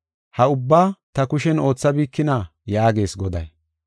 Ha ubbaa ta kushen oothabikina?’ yaagees Goday.